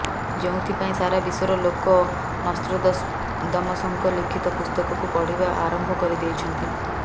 ଯେଉଁଥିପାଇଁ ସାରା ବିଶ୍ୱର ଲୋକେ ନାସ୍ତ୍ରୋଦମସଙ୍କ ଲିଖିତ ପୁସ୍ତକକୁ ପଢିବା ଆରମ୍ଭ କରିଦେଇଛନ୍ତି